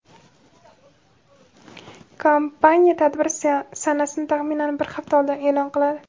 Kompaniya tadbir sanasini taxminan bir hafta oldin e’lon qiladi.